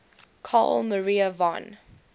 carl maria von